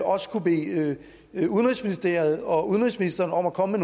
også kunne bede udenrigsministeriet og udenrigsministeren om at komme